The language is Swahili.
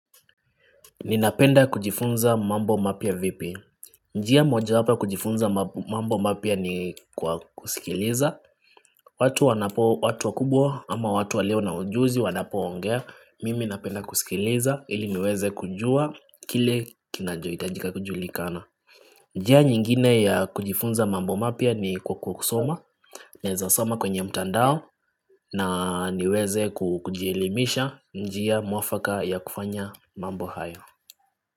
Ninapenda kujifunza mambo mapya vipi. Njia mojawapa ya kujifunza mambo mapya ni kwa kusikiliza. Watu wakubwa ama watu walionaujuzi wanapoongea. Mimi napenda kusikiliza ili niweze kujua kile kinachohitajika kujulikana. Njia nyingine ya kujifunza mambo mapua ni kwa kusoma. Naweza soma kwenye mtandao na niweze kujielimisha njia muafaka ya kufanya mambo hayo.